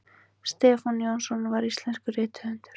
stefán jónsson var íslenskur rithöfundur